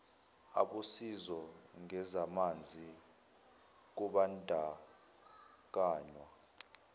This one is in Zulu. abosizo ngezamanzi kubandakanywa